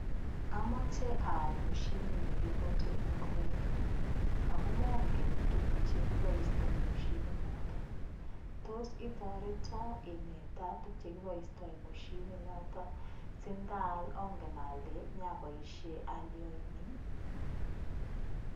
Amoche aal mashinit nekimweten ing'oroik, akoking'en tukuk chekiboishen en moshini noton, toos itoreton inetan tukuk chekiboishen en moshini noton sindaal ong'en olee nyaboishen aliainii.